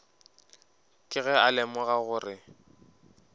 ke ge a lemoga gore